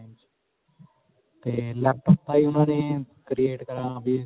ਤੇ laptop ਤਾਂਹੀ ਉਨ੍ਹਾਂ ਨੇ create .